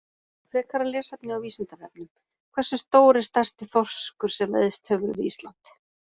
Frekara lesefni á Vísindavefnum: Hversu stór er stærsti þorskur sem veiðst hefur við Ísland?